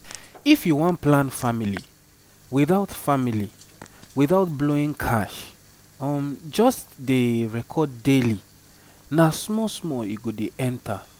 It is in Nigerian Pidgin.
if you wan plan family without family without blowing cash um just dey record daily na small small e go dey enter.